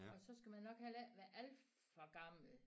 Og så skal man nok heller ikke være alt for gammel